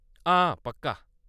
हां, पक्का।